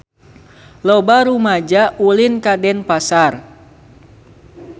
Loba rumaja ulin ka Denpasar